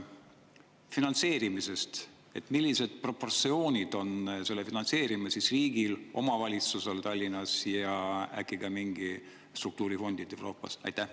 Finantseerimisest: millises proportsioonis on selle finantseerimine riigi, Tallinna valitsuse ja äkki ka mingite Euroopa struktuurifondide vahel?